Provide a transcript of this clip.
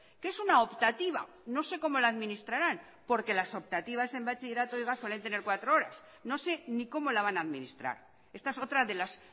que es una optativa no sé cómo la administrarán porque las optativas en bachilleratos suelen tener cuatro horas no sé ni cómo la van a administrar esta es otra de las